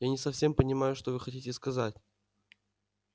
я не совсем понимаю что вы хотите сказать